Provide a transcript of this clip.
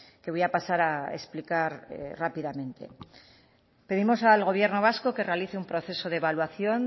que voy a pasar a explicar rápidamente pedimos al gobierno vasco que realice un proceso de evaluación